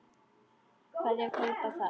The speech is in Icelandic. Hverjir kaupa það?